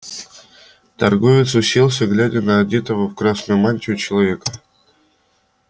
торговец уселся глядя на одетого в красную мантию человека